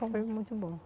Foi muito bom.